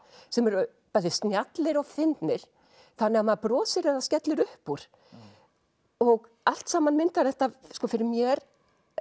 sem eru bæði snjallir og fyndnir þannig að maður brosir eða skellir upp úr allt saman myndar þetta fyrir mér